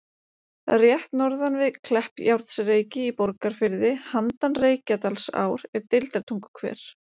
Rétt norðan við Kleppjárnsreyki í Borgarfirði, handan Reykjadalsár, er Deildartunguhver.